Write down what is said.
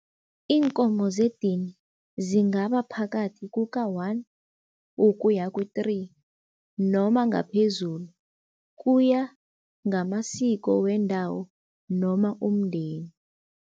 Iinkomo zedini, zingaba phakathi kuka-one ukuya ku-three noma ngaphezulu kuya ngamasiko wendawo noma umndeni.